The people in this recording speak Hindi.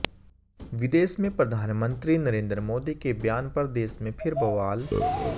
विदेश में प्रधानमंत्री नरेंद्र मोदी के बयान पर देश में फिर बवाल